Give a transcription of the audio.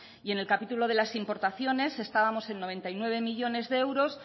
y en el capítulo de las importaciones estábamos en noventa y nueve millónes de euros